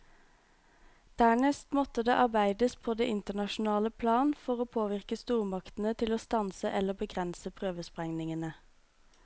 Dernest måtte det arbeides på det internasjonale plan for å påvirke stormaktene til å stanse eller begrense prøvesprengningene.